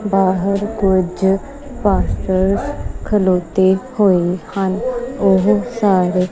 ਬਾਹਰ ਕੁਝ ਪਾਸਟਰਸ ਖਲੌਤੇ ਹੋਏ ਹਨ ਓਹ ਸਾਰੇ--